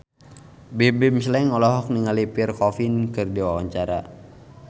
Bimbim Slank olohok ningali Pierre Coffin keur diwawancara